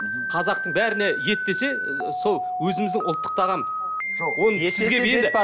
қазақтың бәріне ет десе сол өзіміздің ұлттық тағам